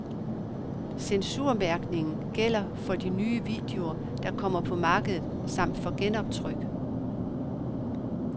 Censurmærkningen gælder for de nye videoer, der kommer på markedet, samt for genoptryk.